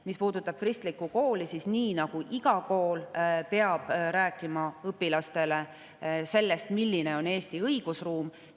Mis puudutab kristlikku kooli, siis iga kool peab rääkima õpilastele sellest, milline on Eesti õigusruum.